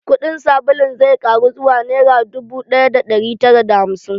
Kuɗin sabulun zai ƙaru zuwa nera dubu ɗaya da ɗari tara da hamsin.